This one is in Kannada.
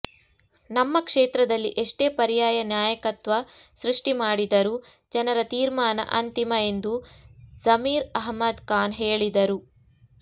ನಮ್ಮ ಕ್ಷೇತ್ರದಲ್ಲಿ ಎಷ್ಟೇ ಪರ್ಯಾಯ ನಾಯಕತ್ವ ಸೃಷ್ಟಿ ಮಾಡಿದರೂ ಜನರ ತೀರ್ಮಾನ ಅಂತಿಮ ಎಂದು ಝಮೀರ್ ಅಹ್ಮದ್ ಖಾನ್ ಹೇಳಿದರು